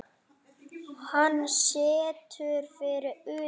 Hann stendur fyrir utan.